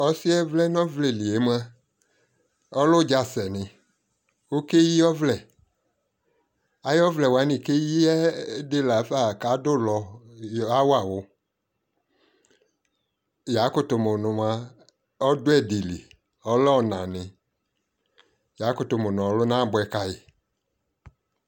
Ɔsi yɛ vlɛ nɔ vlɛ li yɛ mua, ɔlɛ udza sɛniƆkayi ɔvlɛAyɔ vlɛ kɔkɛ yiyɛ di la fa adu lɔ yɔ yɔ yawa wuYakutu mu nu mua, ɔdu ɛdi li Ɔlɛ ɔna niYakutu mu nu ɔluna abue kayi